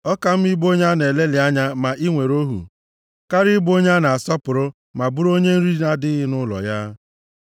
Ọ ka mma ịbụ onye a na-elelị anya ma i nwere ohu, karịa ịbụ onye a na-asọpụrụ ma bụrụ onye nri na-adịghị nʼụlọ ya.